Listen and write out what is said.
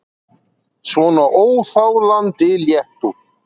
Svona óþolandi léttúð!